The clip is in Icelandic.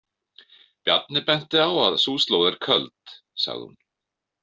Bjarni benti á að sú slóð er köld, sagði hún.